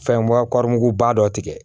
Fɛn bɔ muguba dɔ tigɛ